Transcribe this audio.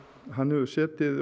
hann hefur setið